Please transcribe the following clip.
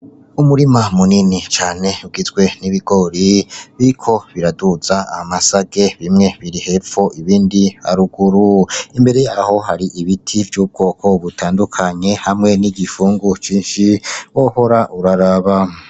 Umurima munini cane ugizwe n'ibigori biriko biraduza amasage, bimwe biri hepfo ibindi haruguru, imbere yaho hari ibiti vy'ubwoko butandukanye hamwe n'igifungu cinshi, wohora uraraba.